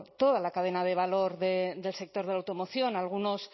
toda la cadena de valor del sector de la automoción algunos